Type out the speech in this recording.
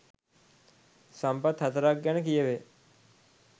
සම්පත් 04 ක් ගැන කියැවේ.